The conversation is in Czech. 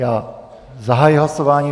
Já zahajuji hlasování.